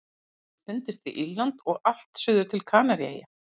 Hann hefur fundist við Írland og allt suður til Kanaríeyja.